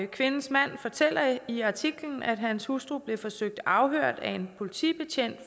kvindens mand fortæller i artiklen at hans hustru blev forsøgt afhørt af en politibetjent